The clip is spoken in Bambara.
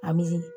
An bɛ